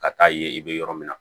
Ka taa yen i bɛ yɔrɔ min na